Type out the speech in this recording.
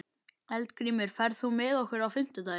Eldgrímur, ferð þú með okkur á fimmtudaginn?